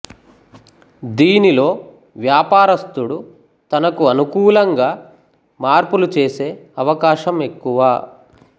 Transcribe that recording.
దీనిలో వ్వాపారస్తుడు తనకు అనుకూలంగా మార్పులు చేసె అవకాశం ఎక్కువ